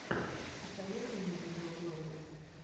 посоветуй мне видеоблоги